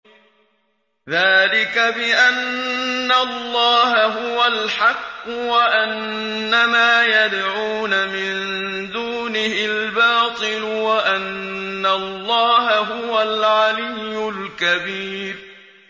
ذَٰلِكَ بِأَنَّ اللَّهَ هُوَ الْحَقُّ وَأَنَّ مَا يَدْعُونَ مِن دُونِهِ الْبَاطِلُ وَأَنَّ اللَّهَ هُوَ الْعَلِيُّ الْكَبِيرُ